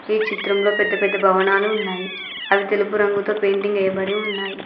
ఈ చిత్రంలో పెద్ద పెద్ద భవనాలు ఉన్నాయి అవి తెలుపు రంగుతో పెయింటింగ్ వేయబడి ఉన్నాయి.